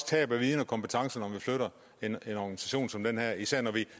tabe viden og kompetence når vi flytter en organisation som den her især når vi